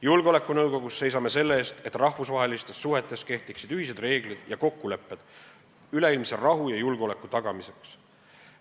Julgeolekunõukogus seisame selle eest, et rahvusvahelistes suhetes kehtiksid ühised reeglid ja kokkulepped üleilmse rahu ja julgeoleku tagamiseks.